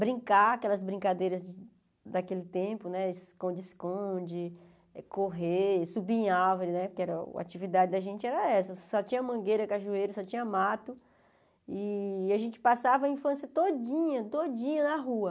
brincar aquelas brincadeiras de daquele tempo, esconde-esconde, correr, subir em árvore, né porque a atividade da gente era essa, só tinha mangueira, cajueiro, só tinha mato, e a gente passava a infância todinha, todinha na rua.